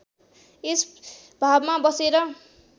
यस भावमा बसेर